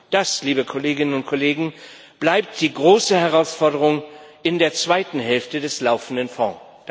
Das, liebe Kolleginnen und Kollegen, bleibt die große Herausforderung in der zweiten Hälfte des laufenden Fonds.